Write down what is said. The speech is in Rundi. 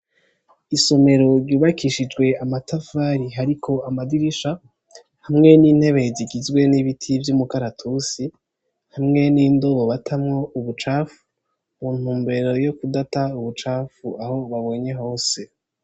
Isomero ryubakishijwe amatafari hariko amadirisha hamwe n'intebe zigizwe n'ibiti vyo umukaratusi hamwe n'indobobatamwo ubucafu mu ntumbero yo kudata ubucafu aho babonye hose.